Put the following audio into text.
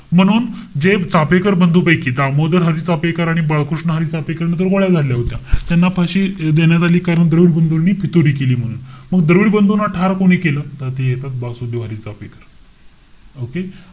म्हणून, जे चाफेकर बंधुपैकीच दामोदर हरी चाफेकर आणि बाळकृष्ण हरी चाफेकर, यांनी तर गोळ्या झाडल्या होत्या. त्यांना फाशी अं देण्यात आली. कारण द्रविड बंधूनी फितुरी केली म्हणून. मग द्रविड बंधूना ठार कोणी केलं? तर ते येतात वासुदेव हरी चाफेकर. okay?